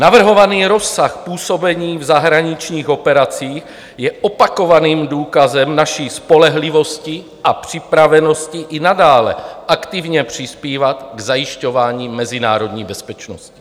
Navrhovaný rozsah působení v zahraničních operacích je opakovaným důkazem naší spolehlivosti a připravenosti i nadále aktivně přispívat k zajišťování mezinárodní bezpečnosti.